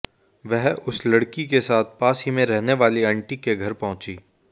वह उस लड़की के साथ पास में ही रहने वाली आंटी के घर पहुंची